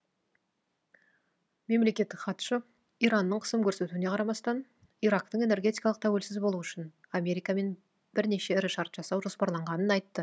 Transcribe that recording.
мемлекеттік хатшы иранның қысым көрсетуіне қарамастан ирактың энергетикалық тәуелсіз болуы үшін америкамен бірнеше ірі шарт жасау жоспарланғанын айтты